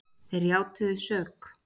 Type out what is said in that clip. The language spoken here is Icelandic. Þeir játuðu sök